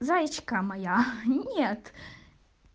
заечка моя нет